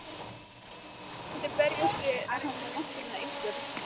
Þú skalt aldrei berjast við náttúruna Ísbjörg.